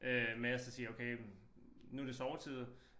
Øh men Astrid siger okay men nu det sovetid